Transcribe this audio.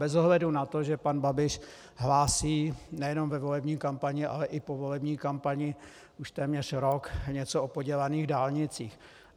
Bez ohledu na to, že pan Babiš hlásí nejenom ve volební kampani, ale i po volební kampani už téměř rok něco o podělaných dálnicích.